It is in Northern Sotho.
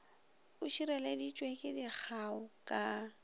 e šireleditšwe ke dikgao ka